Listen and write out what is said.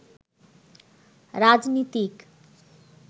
রাজনীতিক